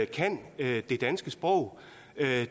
kan det danske sprog